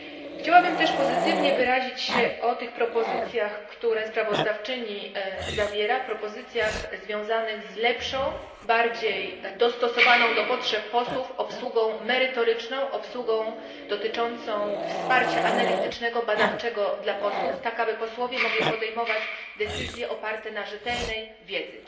Chciałabym też pozytywnie wyrazić się o tych propozycjach, które sprawozdawczyni przedstawia, propozycjach związanych z lepszą, bardziej dostosowaną do potrzeb posłów obsługą merytoryczną, obsługą dotyczącą wsparcia analitycznego i badawczego dla posłów tak, aby mogli oni podejmować decyzje oparte na rzetelnej wiedzy.